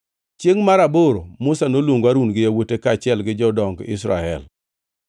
Chiengʼ mar aboro Musa noluongo Harun gi yawuote kaachiel gi jodong Israel.